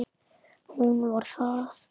Hún var það.